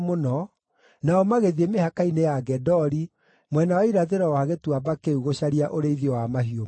nao magĩthiĩ mĩhaka-inĩ ya Gedori mwena wa irathĩro wa gĩtuamba kĩu gũcaria ũrĩithio wa mahiũ mao.